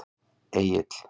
Egill